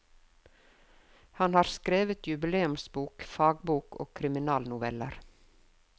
Han har skrevet jubileumsbok, fagbok og krimnoveller.